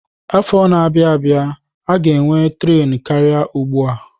Afọ na-abịa, a ga-enwe tren karịa ugbu a.